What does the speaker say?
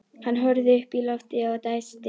Hann horfði upp í loftið og dæsti.